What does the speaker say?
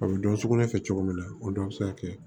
A bɛ dɔn sugunɛ kɛ cogo min na o dɔ bɛ se ka kɛ